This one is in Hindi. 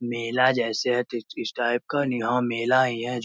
मेला जैसे है कुछ इस टाइप का यहाँ मेला ही है।